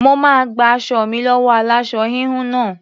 Mo máa gba aṣọ mi lọ́wọ́ aláṣọ-híhun náà.